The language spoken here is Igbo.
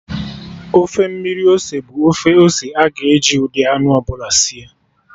Ofe mmiri ose bụ ofe ose aga-eji ụdị anụ ọbụla sie